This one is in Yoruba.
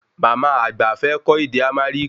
Màmá àgbà fẹ́ kõ ède Amariki